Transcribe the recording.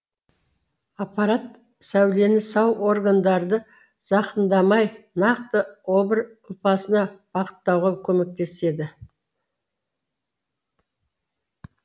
аппарат сәулені сау органдарды зақымдамай нақты обыр ұлпасына бағыттауға көмектеседі